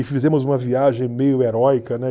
E fizemos uma viagem meio heróica, né?